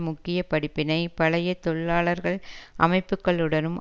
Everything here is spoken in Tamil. முக்கிய படிப்பினை பழைய தொழிலாளர்கள் அமைப்புக்களுடனும்